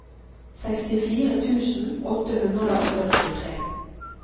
sekstifire tusen åtte hundre og førtitre